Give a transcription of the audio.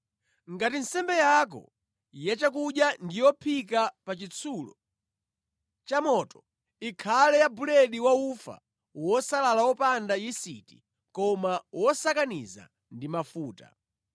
Ngati nsembe yako yachakudya ndi yophika pa chitsulo chamoto, ikhale ya buledi wa ufa wosalala wopanda yisiti koma wosakaniza ndi mafuta.